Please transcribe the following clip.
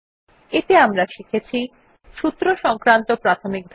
এতে আমরা শিখেছি সূত্র সংক্রান্ত প্রাথমিক ধারণা